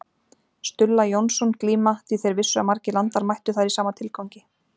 Stulla Jónsson glíma því þeir vissu að margir landar mættu þar í sama tilgangi.